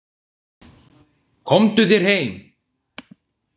Komdu þér heim!